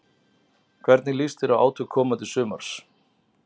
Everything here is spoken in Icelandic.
Hvernig líst þér á átök komandi sumars?